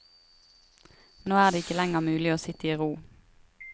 Nå er det ikke lenger mulig å sitte i ro.